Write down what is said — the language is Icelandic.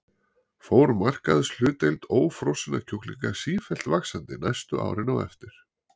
Fór markaðshlutdeild ófrosinna kjúklinga sífellt vaxandi næstu árin á eftir.